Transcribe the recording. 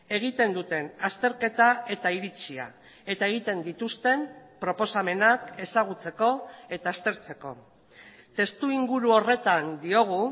egiten duten azterketa eta iritzia eta egiten dituzten proposamenak ezagutzeko eta aztertzeko testuinguru horretan diogu